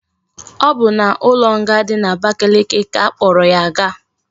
O bu na ulo nga di na abakeleke ka akporo ya gaa